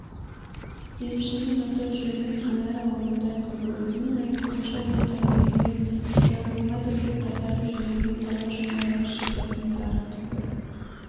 емшінің аты-жөні динара орынтайқызы өзінің айтуынша ол дәрігерлер жазылмайды деп қайтарып жіберген талай жандарға шипасын дарытыпты